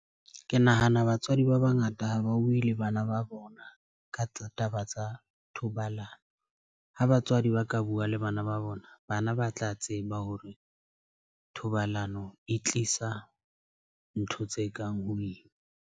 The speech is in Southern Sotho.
Ke nahana batswadi ba bangata ha ba buwe le bana ba bona ka taba tsa thobalano. Ha batswadi ba ka bua le bana ba bona bana ba tla tseba hore thobalano e tlisa ntho tse kang ho ima.